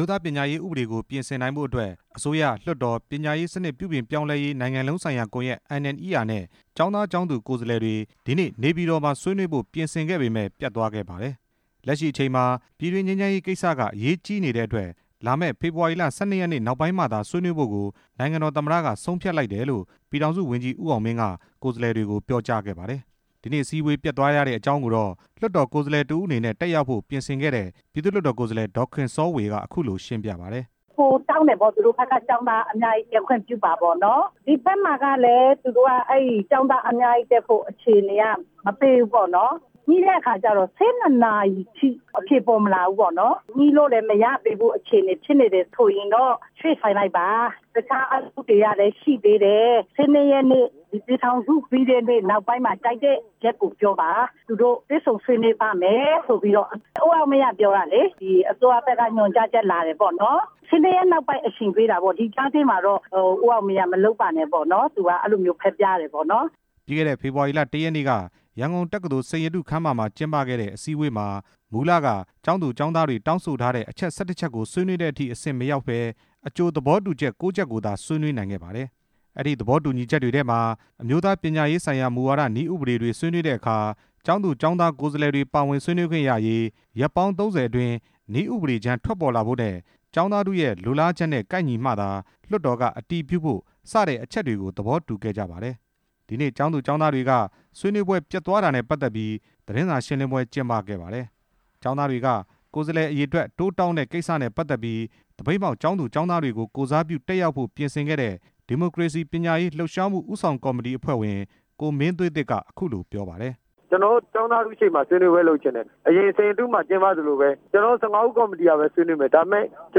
ိုးသားပညာရေးဥပဒေကို ပြင်ဆင်နိုင်ဖို့အတွက် အစိုးရ လွှတ်တော် ပညာရေးစနစ်ပြုပြင်ပြောင်းလဲရေး နိုင်ငံလုံးဆိုင်ရာကွန်ရက် NNER နဲ့ ကျောင်းသား ကျောင်းသူ ကိုယ်စားလှယ်တွေ ဒီနေ့ နေပြည်တော် မှာ ဆွေးနွေးဖို့ ပြင်ဆင်ခဲ့ပေမယ့် ပျက်သွားခဲ့ပါတယ်။ လက်ရှိအချိန်မှာ ပြည်တွင်းငြိမ်းချမ်းရေးကိစ္စက အရေးကြီးနေတဲ့အတွက် လာမယ့် ဖေဖော်ဝါရီလ ၁၂ ရက်နေ့ နောက်ပိုင်းမှသာ ဆွေးနွေးဖို့ကို နိုင်ငံတော်သမ္မတက ဆုံးဖြတ်လိုက်တယ်လို့ ပြည်ထောင်စုဝန်ကြီး ဦးအောင်မင်းက ကိုယ်စားလှယ်တွေကို ပြောကြားခဲ့ပါတယ်။ ဒီနေ့ အစည်းအဝေးပျက်သွားရတဲ့ အကြောင်းကိုတော့ လွှတ်တော်ကိုယ်စားလှယ်တစ်ဦးအနေနဲ့ တက်ရောက် ဖို့ ပြင်ဆင်ခဲ့တဲ့ ပြည်သူ့လွှတ်တော်ကိုယ်စားလှယ် ဒေါ်ခင်စောဝေက အခုလို ရှင်းပြပါတယ်။ ပိုတောင်းတယ်ပေါ့ သူတို့ဘက်က ကျောင်းသားအများကြီးတက်ခွင့်ပြုပါပေါ့နော်၊ ဒီဘက်မှာကလည်း သူတို့က အဲ့ကျောင်းသားအများကြီးတက်ဖို့ အခြေအနေတွေက မပေးဘူးပေါ့နော်၊ ညှိတဲ့အခါကျတော့ ၁၂ နာရီအထိ အဖြေပေါ်မလာဘူး၊ ညှိလို့လည်းမရသေးတဲ့ အခြေအနေဖြစ်နေ တယ်ဆိုရင်တော့ ရွေ့ဆိုင်းလိုက်ပါ၊ ၁၂ ရက်နေ့ ပြည်ထောင်စုနေ့ပြီးတဲ့နေ့ နောက်ပိုင်းမှာ ကြိုက်တဲ့ရက် ကိုပြောပါ၊ သူတို့ တွေ့ဆုံဆွေးနွေးပါ့မယ်ဆိုပြီးတော့ ဦးအောင်မင်းက ပြောတာလေ၊ အစိုရဘက်က ညွှန်ကြားချက်လာတယ်ပေါ့နော်၊ ၁၂ ရက်နေ့နောက်ပိုင်း အချိန်ပေးတာပေါ့၊ ဒီကြားထဲမှာတော့ ဦးအောင်မင်းက မလုပ်ပါနဲ့ပေါ့နော်၊ သူကအဲ့လိုမျိုး ပြောပြတယ်ပေါ့နော်။ ပြီးခဲ့တဲ့ ဖေဖော်ဝါရီလ ၁ ရက်နေ့က ရန်ကုန်စိန်ရတုခန်းမမှာ ကျင်းပခဲ့တဲ့ အစည်းအဝေးမှာ မူလက ကျောင်းသူ ကျောင်းသားတွေ တောင်းဆိုထားတဲ့ အချက် ၁၁ ချက်ကို ဆွေးနွေးတဲ့အထိ မရောက်ပဲ အကြိုသဘောတူချက် ၉ ချက်ကိုသာ ဆွေးနွေးနိုင်ခဲ့ပါတယ်။ အဲ့ဒီ သဘောတူညီချက်တွေထဲမှာ အမျိုးသားပညရေးဆိုင်ရာ မူဝါဒ နည်းဥပဒေတွေ ဆွေးနွေးတဲ့ အခါ ကျောင်းသူ ကျောင်းသားကိုယ်စားလှယ်တွေ ပါဝင်ဆွေးနွေးခွင့်ရရေး၊ ရက်ပေါင်း ၃ဝ အတွင်း နည်းဥပဒေကြမ်း ထွက်ပေါ်လာဖို့နဲ့ ကျောင်းသားထုရဲ့ လိုလားချက်နဲ့ကိုက်ညီမှ လွှတ်တော်ကအတည်ပြုဖို့ စတဲ့အချက်တွေကို သဘောတူခဲ့ကြပါတယ်။ ဒီနေ့ ကျောင်းသူ ကျောင်းသားတွေက ဆွေးနွေးပွဲ ပျက်သွားတာနဲ့ပတ်သက်ပြီး သတင်းစာရှင်းလင်းပွဲ ကျင်းပ ခဲ့ပါတယ်။ ကျောင်းသားတွေက ကိုယ်စားလှယ် အရေအတွက် တိုးတောင်းတဲ့ ကိစ္စနဲ့ပတ်သက်ပြီး သပိတ်မှောက် ကျောင်းသူ ကျောင်းသားတွေကို ကိုယ်စားပြု တက်ရောက်ဖို့ ပြင်ဆင်ခဲ့တဲ့ ဒီမိုကရေစီပညာရေး လှုပ်ရှားမှုဦးဆောင်ကော်မတီ အဖွဲ့ဝင် ကိုမင်းသွေးသစ်က အခုလို ပြောပါတယ်။ ကျနော်တို့ ကျောင်းသားထုရှေ့မှာ ဆွေးနွေးပွဲလုပ်ချင်တယ်၊ အရင်စိန်ရတု မှာကျင်းပသလိုပဲ ကျနော်တို့ ၁၅ ဦးကော်မတီကပဲ ဆွေးနွေးမယ်၊ ဒါပေမယ့် ကျ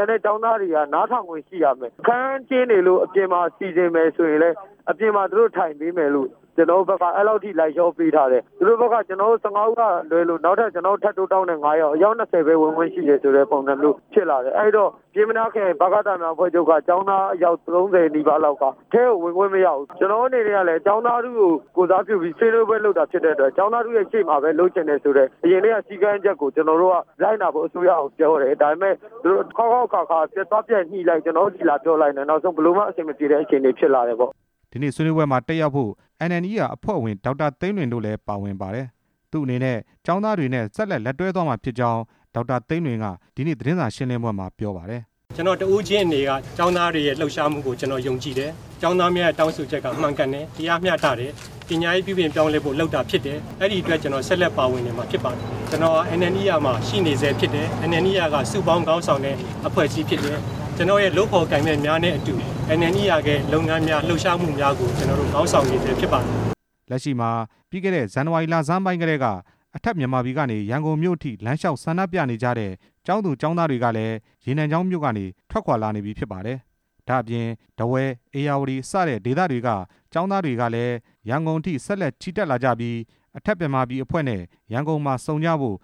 န်တဲ့ ကျောင်းသားတွေက နားထောင်ခွင့်ရှိရမယ်၊ အခန်းကျန်းနေလို့ အပြင်မှာ စီစဉ်မယ်ဆိုရင်လည်း အပြင်မှာ သူတို့ ထိုင်ပေးမယ်လို့ ကျနော်တို့ဘက်က အဲ့လောက်အထိ လိုက်လျောပေးထားတယ်၊ သူတို့ဘက်က ကျနော်တို့ ၁၅ ဦးကလွဲလို့ နောက် ထပ် ကျနော်တို့ထပ်တိုးတောင်းတယ်၊ အယောက် ၂ဝ ပဲဝင်ခွင့်ရှိတယ်ဆိုတဲ့ ပုံစံမျိုးဖြစ်လာတယ်၊ အဲ့ဒီတော့ ပျဉ်းမနားခရိုင် ဗကသများအဖွဲ့ချုပ်က ကျောင်းသားအယောက် ၃ဝ နီးပါးလောက်က အထဲကိုဝင်ခွင့်မရဘူး၊ ကျနော်တို့ အနေနဲ့ကလည်း ကျောင်းသားထုကို ကိုယ်စားပြုပြီး ဆွေးနွေးပွဲလုပ်တာဖြစ်တဲ့အတွက် ကျောင်းသားထု ရဲ့ ရှေ့မှာပဲလုပ်ချင်တယ်ဆိုတဲ့ အရင်ကတည်းက စည်ကမ်းချက်ကို ကျနော်တို့က လိုက်နာဖို့ အစိုးရကိုပြောတယ်၊ ဒါပေမယ့် သူတို့က အခေါက်ခေါက်အခါခါ သွားပြန်ညှိလိုက် ကျနော်တို့ဆီလာပြန်ပြောလိုက် နောက်ဆုံးဘယ်လိုမှ အဆင်မပြေတဲ့ အခြေအနေဖြစ်လာတယ်ပေါ့။ ဒီနေ့ ဆွေးနွေးပွဲမှာ တက်ရောက်ဖို့ NNER အဖွဲ့ဝင် ဒေါက်တာသိန်းလွင်တို့လည်း ပါဝင်ပါတယ်။ သူ့အနေ နဲ့ ကျောင်းသားတွေနဲ့ ဆက်လက်လက်တွဲသွားမှာဖြစ်ကြောင်း NNER အဖွဲ့က ဒေါက်တာ သိန်းလွင်က ဒီနေ့ သတင်းစာရှင်းလင်းပွဲမှာ ပြောပါတယ်။ ကျနော်တစ်ဦးချင်းအနေနဲ့က ကျောင်းသားတွေရဲ့ လှုပ်ရှားမှုကို ကျနော်ယုံကြည် တယ်၊ ကျောင်းသားများရဲ့ တောင်းဆိုချက်က မှန်ကန်တယ်၊ တရားမျှတတယ်၊ ပညာရေး ပြုပြင်ပြောင်းလဲဖို့ လုပ်တာဖြစ်တယ်၊ အဲ့ဒီအတွက် ကျနော်ဆက်လက် ပါဝင်နေမှာဖြစ်ပါတယ်၊ ကျနော် NNER မှာ ရှိနေဆဲဖြစ်တယ်၊ NNER က စုပေါင်းခေါင်းဆောင်တဲ့ အဖွဲ့အစည်းဖြစ်တယ်၊ ကျနော်ရဲ့ လုပ်ဖော်ကိုင်ဘက်များနဲ့အတူ NNER ရဲ့ လုပ်ငန်းများ၊ လှုပ်ရှားမှုများကို ကျနော်တို့ ခေါင်းဆောင်နေဆဲဖြစ်ပါတယ်။ လက်ရှိမှာ ပြီးခဲ့တဲ့ ဇန်နဝါရီလဆန်းပိုင်းကတည်းက အထက်မြန်မာပြည်ကနေ ရန်ကုန်မြို့အထိ လမ်းလျှောက် ဆန္ဒပြနေကြတဲ့ ကျောင်းသူ ကျောင်းသားတွေကလည်း ရေနံချောင်းမြို့ကနေ ထွက်ခွာလာနေပါတယ်။ ဒါ့အပြင် ထားဝယ်၊ ဧရာဝတီ စတဲ့ဒေသတွေက ကျောင်းသား တွေဟာလည်း ရန်ကုန်အထိ ဆက်လက်ချီတက် ကြပြီး အထက်မြန်မာပြည်အဖွဲ့နဲ့ ရန်ကုန်မှာ ဆုံကြဖို့